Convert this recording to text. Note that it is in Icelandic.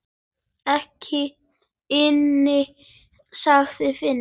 Ekki inni, sagði Finnur.